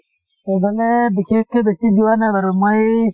সেই ফালে বিশেষকে বেছি যোৱা নাই বাৰু মই